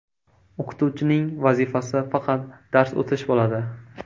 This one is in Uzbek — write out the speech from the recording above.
O‘qituvchining vazifasi faqat dars o‘tish bo‘ladi.